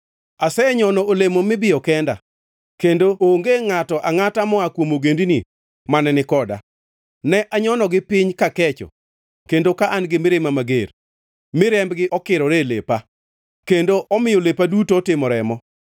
Asenyono olemo mibiyo kenda; kendo ngʼato angʼata moa kuom ogendini mane ni koda. Ne anyonogi piny kakecho kendo ka an-gi mirima mager; mi rembgi okirore e lepa kendo omiyo lepa duto otimo remo.